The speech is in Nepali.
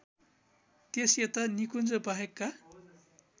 त्यसयता निकुञ्जबाहेकका